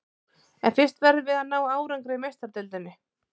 En fyrst verðum við að ná árangri í Meistaradeildinni.